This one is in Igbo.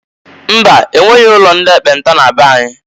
Mba! E nweghi ụlo ndi ekpenta na be anyị.